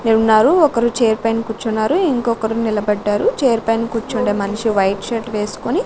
ఉన్నారు ఒకరు చేర్ పైన కూర్చున్నారు ఇంకొకరు నిలబడ్డారు చేర్ పైన కూర్చుండే మనిషి వైట్ షర్ట్ వేసుకొని.